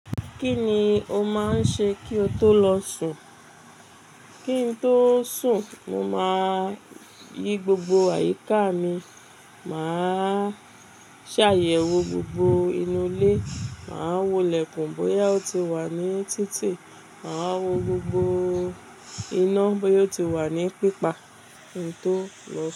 Kí ni o máa ń ṣe kí o tó lọ sùn? Kí n tó sùn, mo máa yí gbogbo àyíká mi, màá ṣàyẹ̀wò gbogbo inú ilé, màá wolẹ̀kùn bóyá ó ti wà ní títì, màá wo gbogbo iná bóyá ó ti wà ní pípa kí n tó lọ sùn.